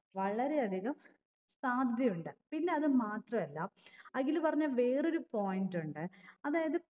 വളരെ അധികം സാധ്യതയുണ്ട് പിന്നെ അത് മാത്രല്ല അഖില് പറഞ്ഞ വേറൊരു point ഉണ്ട് അതായത്